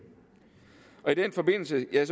i den forbindelse vil jeg